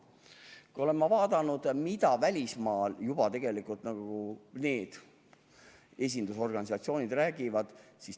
Ma olen jälginud, mida välismaal need esindusorganisatsioonid räägivad.